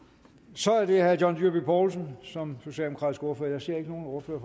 så er det herre john dyrby paulsen som socialdemokratisk ordfører jeg ser ikke nogen ordfører